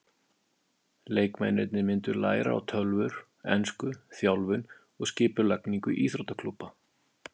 Leikmennirnir myndu læra á tölvur, ensku, þjálfun og skipulagningu íþróttaklúbba.